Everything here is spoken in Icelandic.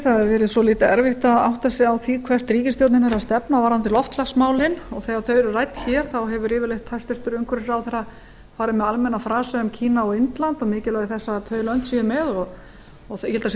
hefur verið svolítið erfitt að átta sig á því hvert ríkisstjórnin er að stefna varðandi loftslagsmálin og þegar þau eru rædd hér hefur hæstvirtur umhverfisráðherra farið með almenna frasa um kína og indland og mikilvægi þess að þau lönd séu með og ég held að það séu